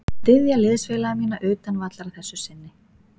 Mun styðja liðsfélaga mína utan vallar að þessu sinni.